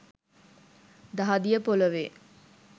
දහදිය ‍පොළොවේ